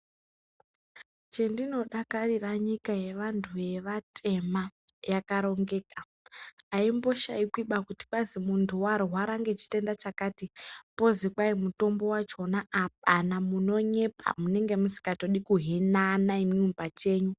Chendinodakarira nyika yevantu vevatema yakarongeka. Aimboshaikwiba kuti kwazi muntu warwara ngechitenda chakati pozi kwai mutombo wachona apana kunyepa munenge musikatodi kuhinana imwimwi pachenyu.